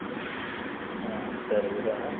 ಹ ಸರಿ ಇಡೋಣ.